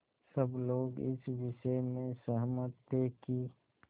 सब लोग इस विषय में सहमत थे कि